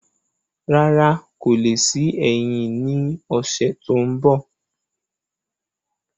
Rárá, kò le sí ẹyin ní ọsẹ tó n bọ